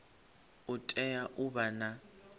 u tea u vha na